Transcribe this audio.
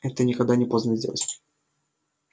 это никогда не поздно сделать